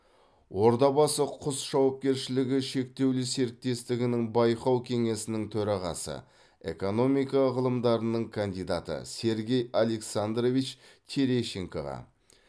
ордабасы құс жауапкершілігі шектеулі серіктестігінің байқау кеңесінің төрағасы экономика ғылымдарының кандидаты сергей александрович терещенкоға